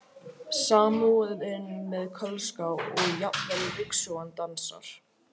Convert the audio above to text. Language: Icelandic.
Samúðin með Kölska og jafnvel ryksugan dansar.